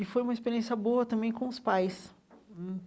E foi uma experiência boa também com os pais hum.